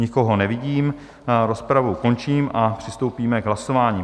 Nikoho nevidím, rozpravu končím a přistoupíme k hlasování.